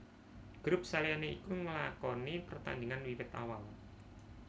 Grup saliyane iku nlakoni pertandingan wiwit awal